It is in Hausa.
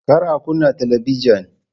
Kar a kunna talabijin!